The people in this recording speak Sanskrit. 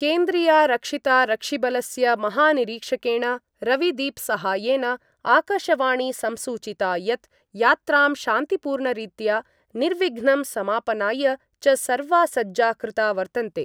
केन्द्रीयारक्षितारक्षिबलस्य महानिरीक्षकेण रविदीपसहायेन आकाशवाणी संसूचिता यत् यात्रां शान्तिपूर्णरीत्या निर्विघ्नं समापनाय च सर्वा सज्जा कृता वर्तन्ते।